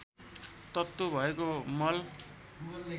तत्त्व भएको मल